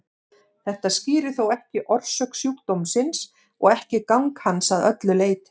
Þetta skýrir þó ekki orsök sjúkdómsins og ekki gang hans að öllu leyti.